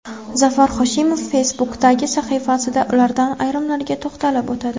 Zafar Hoshimov Facebook’dagi sahifasida ulardan ayrimlariga to‘xtalib o‘tadi .